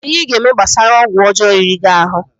Kedu ihe ị ga-eme gbasara ọgwụ ọjọọ riri gị ahụ?